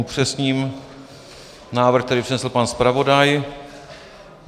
Upřesním návrh, který přednesl pan zpravodaj.